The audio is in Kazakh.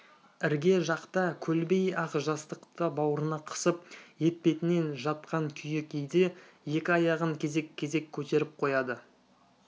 ірге жақта көлбей ақ жастықты бауырына қысып етпетінен жатқан күйі кейде екі аяғын кезек-кезек көтеріп қояды